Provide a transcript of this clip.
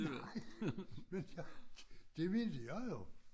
Nej men jeg det mente jeg jo